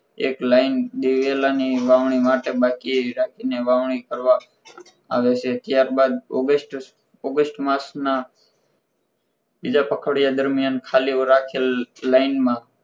એક લાઇન દિવેલાની વાવણી માટે બાકી એ જ રીતની વાવણી કરવામાં આવે છે ત્યારબાદ august માસના બીજા પખવાડિયા દરમિયાન ખાલી રાખેલ line માં